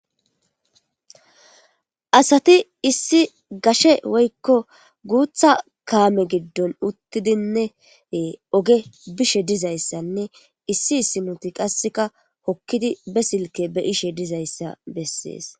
asati issi gashe woykko guutha kaame giddon uttidinnee oge bishe dizayssanne issi issi nuti qasseka hokkidi be silke be ishe dizayssa bessees